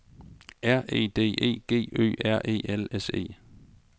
R E D E G Ø R E L S E